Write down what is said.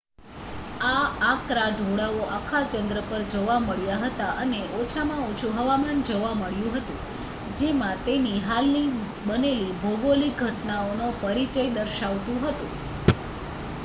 આ આકરા ઢોળાવો આખા ચંદ્ર પર જોવા મળ્યા હતા અને ઓછામાં ઓછુ હવામાન જોવા મળ્યું હતું જેમાં તેની હાલની બનેલી ભોગોલીક ઘટનાઓનો પરિચય દર્શાવતું હતું